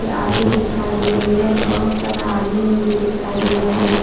Tattoo दिखाई दे रही है और बहुत सारा आदमी लोग भी दिखाई दे रहे है।